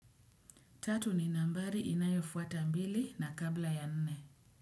Tatu ni nambari inayofuata mbili na kabla ya nne.